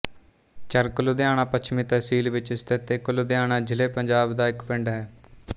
ਚਰਕ ਲੁਧਿਆਣਾ ਪੱਛਮੀ ਤਹਿਸੀਲ ਵਿਚ ਸਥਿਤ ਇੱਕ ਲੁਧਿਆਣਾ ਜ਼ਿਲ੍ਹੇਪੰਜਾਬ ਦਾ ਇੱਕ ਪਿੰਡ ਹੈ